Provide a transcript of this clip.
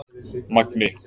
Magni